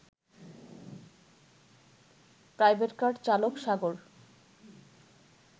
private car চালক সাগর